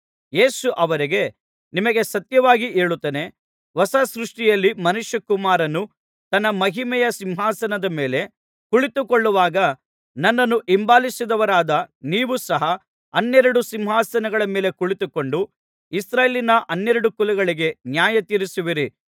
ಯೇಸು ಅವರಿಗೆ ನಿಮಗೆ ಸತ್ಯವಾಗಿ ಹೇಳುತ್ತೇನೆ ಹೊಸ ಸೃಷ್ಟಿಯಲ್ಲಿ ಮನುಷ್ಯಕುಮಾರನು ತನ್ನ ಮಹಿಮೆಯ ಸಿಂಹಾಸನದ ಮೇಲೆ ಕುಳಿತುಕೊಳ್ಳುವಾಗ ನನ್ನನ್ನು ಹಿಂಬಾಲಿಸಿದವರಾದ ನೀವು ಸಹ ಹನ್ನೆರಡು ಸಿಂಹಾಸನಗಳ ಮೇಲೆ ಕುಳಿತುಕೊಂಡು ಇಸ್ರಾಯೇಲಿನ ಹನ್ನೆರಡು ಕುಲಗಳಿಗೆ ನ್ಯಾಯತೀರಿಸುವಿರಿ